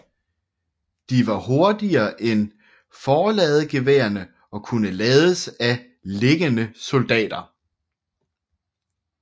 De var hurtigere end forladegeværerne og kunne lades af liggende soldater